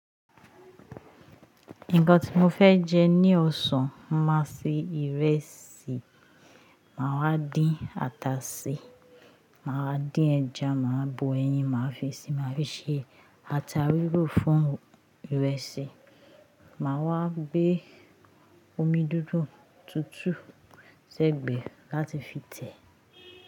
Nǹkan tí mo fẹ́ jẹ ní ọ̀sán máa ṣe ìrẹsì, màá wá dín ata ṣi, màá wá dín ẹja, màá bọ ẹyin, màá fi sí i, màá fi ṣe ata rírò fún ìrẹsì, màá wá gbé omi dúdú tútù sẹ́gbẹ̀ẹ́ láti fi tẹ̀.